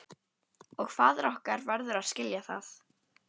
Og faðir okkar verður að skilja það.